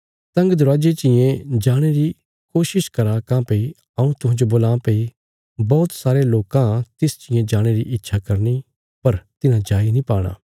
तंग दरवाजे चियें जाणे री कोशिश करा काँह्भई हऊँ तुहांजो बोलां भई बौहत सारे लोकां तिस चियें जाणे री इच्छा करनी पर तिन्हां जाई नीं पाणा